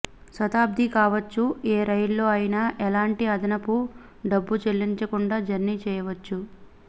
శతాబ్ది కావచ్చు ఏ రైల్లో అయినా ఎలాంటి అదనపు డబ్బు చెల్లించకుండా జర్నీ చేయవచ్చు